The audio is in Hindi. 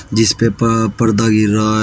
जिस पे प पर्दा गिर रहा है।